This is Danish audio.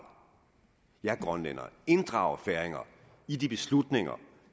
jer grønlændere og inddrage jer færinger i de beslutninger